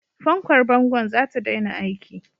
Fankar bangon za ta daina aiki.